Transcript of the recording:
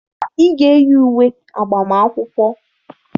Ị ga-eyi uwe agbamakwụkwọ!